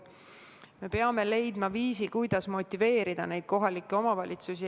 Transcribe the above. Me peame leidma viisi, kuidas motiveerida kohalikke omavalitsusi.